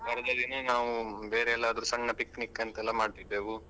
ದಿನ ನಾವ್ ಬೇರೆ ಎಲ್ಲಾದ್ರೂ ಸಣ್ಣ picnic ಅಂತೆಲ್ಲ ಮಾಡ್ತಿದ್ದೆವು.